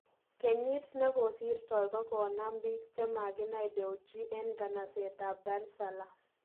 Kenyit nikosirtoi ko konaam piik chemakinai Dewji en nganaset ab Dar es Salaam